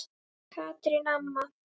Katrín amma.